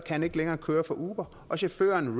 han ikke længere køre for uber og chaufføren